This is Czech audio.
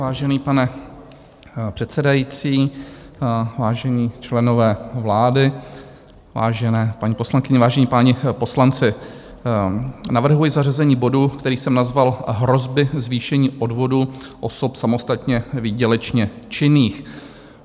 Vážený pane předsedající, vážení členové vlády, vážené paní poslankyně, vážení páni poslanci, navrhuji zařazení bodu, který jsem nazval Hrozby zvýšení odvodů osob samostatně výdělečně činných.